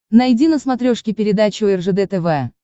найди на смотрешке передачу ржд тв